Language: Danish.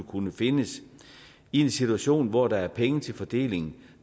kunne findes i en situation hvor der er penge til fordeling